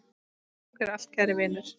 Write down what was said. Takk fyrir allt kæri Vinur.